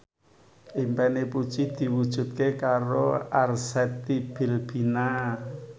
impine Puji diwujudke karo Arzetti Bilbina